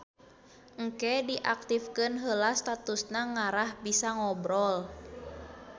Engke diaktifkeun heula statusna ngarah bisa ngobrol